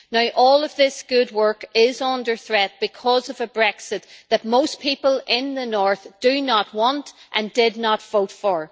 Now all of this good work is under threat because of a Brexit that most people in the north do not want and did not vote for.